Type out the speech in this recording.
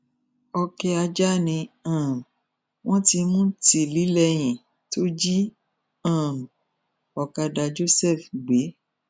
ọkẹ ajá ni um wọn ti mú tìlílẹyìn tó jí um ọkadà joseph gbé